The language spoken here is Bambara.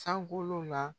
San bolo la